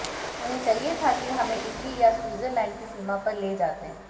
उन्हें चाहिए था कि हमें इटली या स्वीज़रलैंड की सीमा पर ले जाते